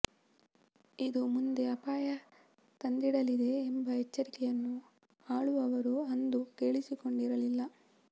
ಇದು ಮುಂದೆ ಅಪಾಯ ತಂದಿಡಲಿದೆ ಎಂಬ ಎಚ್ಚರಿಕೆಯನ್ನು ಆಳುವವರು ಅಂದು ಕೇಳಿಸಿಕೊಂಡಿರಲಿಲ್ಲ